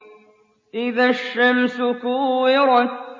إِذَا الشَّمْسُ كُوِّرَتْ